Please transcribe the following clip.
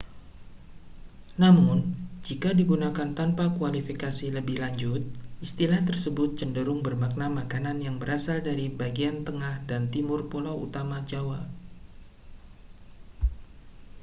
namun jika digunakan tanpa kualifikasi lebih lanjut istilah tersebut cenderung bermakna makanan yang berasal dari bagian tengah dan timur pulau utama jawa